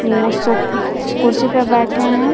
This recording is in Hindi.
वो सो कुर्सी पर बैठे हैं।